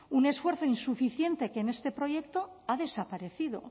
un esfuerzo insuficiente que en este proyecto ha desaparecido